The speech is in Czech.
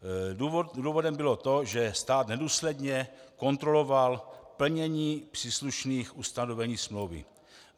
Důvodem bylo to, že stát nedůsledně kontroloval plnění příslušných ustanovení smlouvy.